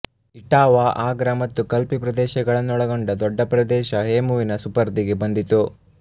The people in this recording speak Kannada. ಇಟಾವಾ ಆಗ್ರಾ ಮತ್ತು ಕಲ್ಪಿ ಪ್ರದೇಶಗಳನ್ನೊಳಗೊಂಡ ದೊಡ್ಡ ಪ್ರದೇಶ ಹೇಮುವಿನ ಸುಪರ್ದಿಗೆ ಬಂದಿತು